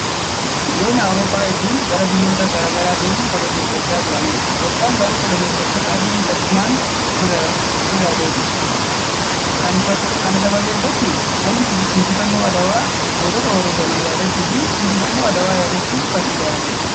Biyyoonni Awurooppaa hedduun gara biyyoota gara garaa deemuun koloneeffachaa turaniiru. Itoophiyaan garuu koloneeffattoota adii salphinaan ofirra deebiste. Kana sababeeffachuun galmi injifannoo Adwaa gootota wareegaman yaadachuu fi injifannoo Adwaa yaadachuuf kan ijaaramedham